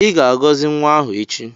I ga-agọzi nwa ahụ echi.